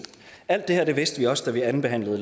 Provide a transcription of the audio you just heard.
alt det her vidste vi også da vi andenbehandlede